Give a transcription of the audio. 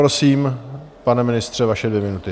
Prosím, pane ministře, vaše dvě minuty.